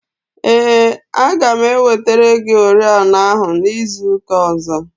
Ee, aga m ewetere gị oriọna ahụ izu ụka ọzọ.